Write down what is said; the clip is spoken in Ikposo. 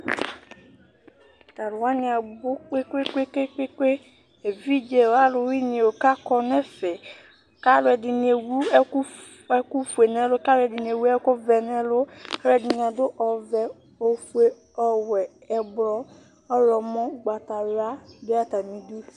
Atalʋ wani abʋ kpekpekpe, evidze o, alʋwani o k'akɔ n'ɛfɛ, kalʋ ɛdini ewu ɛkʋ f ɛkʋ fue n'ɛlʋ, k'alʋ ɛdini ewu ɛkʋ vɛ n'ɛlʋ, k'alʋ ɛdini adʋ ɔvɛ, ofue, ɔwɛ, ɛblɔ, ɔɣlɔmɔ , ugbatawla du atamili